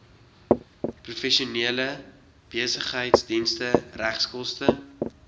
professionele besigheidsdienste regskoste